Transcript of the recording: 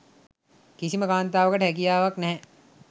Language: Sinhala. කිසිම කාන්තාවකට හැකියාවක් නැහැ.